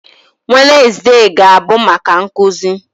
Wednezde ga-abụ maka nkụzi